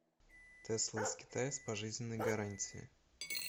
тесла из китая с пожизненной гарантией